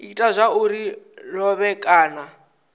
ita zwauri a lovhe kana